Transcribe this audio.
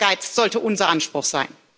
Dieser Ehrgeiz sollte unser Anspruch sein.